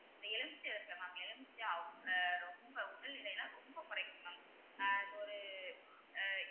இந்த எலுமிச்சை இருக்குல mam எலுமிச்சை எலுமிச்சை ரொம்ப உடல் எடையலாம் ரொம்ப குறைக்கும் mam ஆஹ் இப்ப ஒரு